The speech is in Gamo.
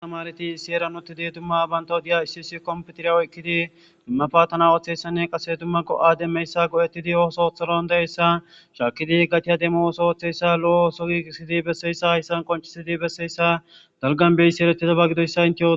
Tamareti bantaw seran utidi dumma bantaw huphiyan issi issi kompitera oykidi ba patana othizaysanne qase dumma dumma go'etidi go'a osso demiyosa othidi danda'iyaysa shakidi qaciya demo lo'o osso gigisidi besiyaysa haysan qoncisidi besiyasa dalga beyethizaysa gidiyosa Intew otidaysa